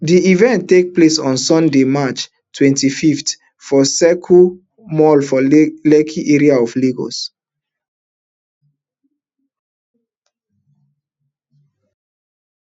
di event take place on sunday march twenty-five for circle mall for lekki area of lagos